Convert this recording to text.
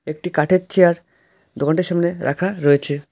একটি কাঠের চেয়ার দোকানটির সামনে রাখা রয়েছে।